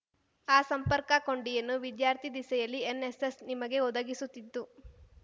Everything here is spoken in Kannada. ಆ ಸಂಪರ್ಕ ಕೊಂಡಿಯನ್ನು ವಿದ್ಯಾರ್ಥಿ ದಿಸೆಯಲ್ಲಿ ಎನ್‌ಎಸ್‌ಎಸ್ ನಿಮಗೆ ಒದಗಿಸುತ್ತಿದ್ದು